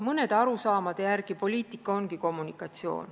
Mõnede arusaamade järgi poliitika ongi kommunikatsioon.